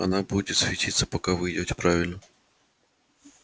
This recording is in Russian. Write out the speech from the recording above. она будет светиться пока вы идёте правильно